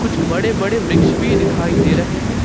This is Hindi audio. कुछ बड़े बड़े वृक्ष भी दिखाई दे रहे हैं।